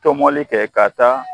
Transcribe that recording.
Tɔmɔli kɛ ka taa